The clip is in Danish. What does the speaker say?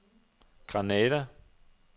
Granada